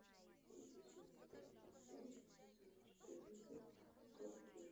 эпизод тридцать пять сезон четырнадцать топ гир